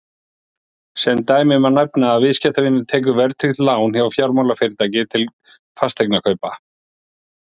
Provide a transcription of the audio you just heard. sem dæmi má nefna að viðskiptavinur tekur verðtryggt lán hjá fjármálafyrirtæki til fasteignakaupa